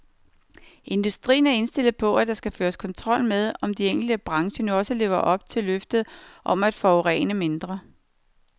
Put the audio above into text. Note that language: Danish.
Industrien er indstillet på, at der skal føres kontrol med, om de enkelte brancher nu også lever op til løftet om at forurene mindre.